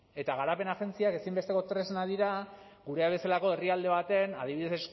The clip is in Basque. eta garapen agentziak ezinbesteko tresnak dira gurea bezalako herrialde baten adibidez